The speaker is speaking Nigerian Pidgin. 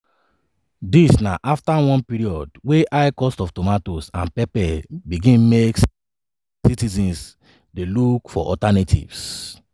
dis na afta one period wey high cost of tomatoes and pepper begin make citizens dey look for alternatives.